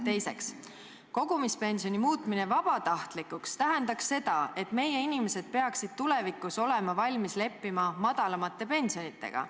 " Teiseks: "Kogumispensioni muutmine vabatahtlikuks tähendaks seda, et meie inimesed peaksid tulevikus olema valmis leppima madalamate pensionitega.